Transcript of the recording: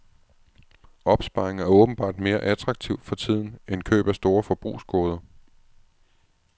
Opsparing er åbenbart mere attraktivt for tiden end køb af store forbrugsgoder.